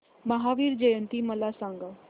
महावीर जयंती मला सांगा